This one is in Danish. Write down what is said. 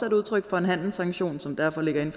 et udtryk for en handelssanktion som derfor ligger inden